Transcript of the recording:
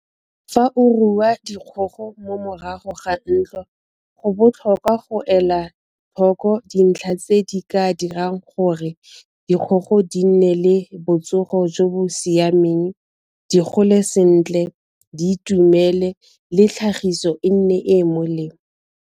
Fa o rua dikgogo mo morago ga ntlo go botlhokwa go ela tlhoko dintlha tse di ka dirang gore dikgogo di nne le botsogo jo bo siameng, di gole sentle, di itumele le tlhagiso e nne e e molemo.